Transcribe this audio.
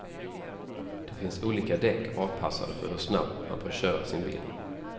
Det finns olika däck avpassade för hur snabbt man bör köra sin bil.